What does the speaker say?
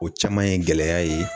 O caman ye gɛlɛya ye